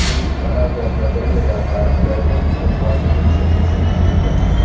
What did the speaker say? Bu Kanada lotereyalari tarixidagi summasi bo‘yicha uchinchi yutuq.